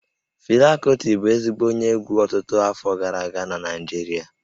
Fela Kuti bụ ezigbo onye egwú ọtụtụ afọ gara aga na Naịjirịa